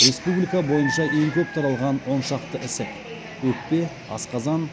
республика бойынша ең көп таралған он шақты ісік өкпе асқазан